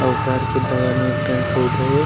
अउ ओ घर के बगल म पेड़-पौधे हे ।